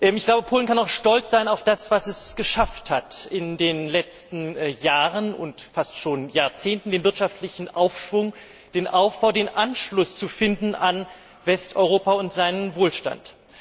Ich glaube, Polen kann auch stolz sein auf das, was es geschafft hat in den letzten Jahren und fast schon Jahrzehnten den wirtschaftlichen Aufschwung, den Aufbau, den Anschluss zu finden an Westeuropa und seinen Wohlstand.